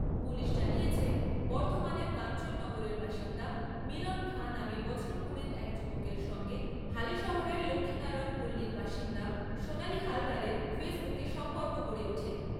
Police জানিয়েছে বর্ধমানের কাঞ্চন নগরের বাসিন্দা মিলন খাঁ নামে বছর কুড়ির এক যুবকের সঙ্গে হালিশহরের লক্ষীনারায়ন পল্লীর বাসিন্দা সোনালী হালদারের ফেসবুকে সম্পর্ক গড়ে ওঠে।